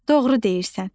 Doğru deyirsən.